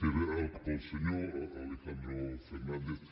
era pel senyor alejandro fernández